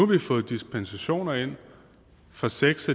vi fået dispensationer ind for seks